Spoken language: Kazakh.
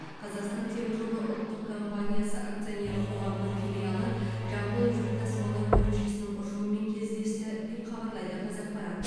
қазақстан темір жолы ұлттық компаниясы акционерлік қоғамының филиалы жамбыл жүк тасымалдау бөлімшесінің ұжымымен кездесті деп хабарлайды қазақпарат